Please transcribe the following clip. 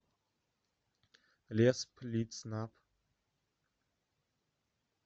лесплитснаб